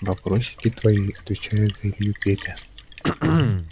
вопросики твои отвечает илью петя